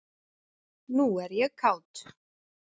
Nú er ég kát.